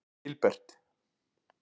Gilbert